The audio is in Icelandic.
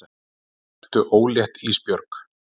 Ertu ólétt Ísbjörg?